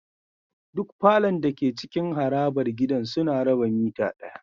Duk falon dake cikin harabar gidan suna raba mitter daya